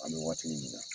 An bɛ waati min na